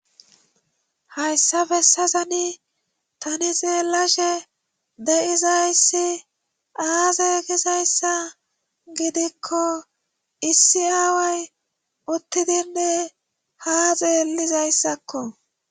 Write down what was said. hayssafe sazani tani xeelashe de7izayssi aazeegizayssa gidikko issi aawey uttidinne ha xeelizayssakko